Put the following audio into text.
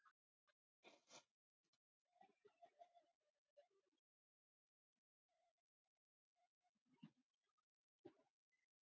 Þú vilt vera stjórinn?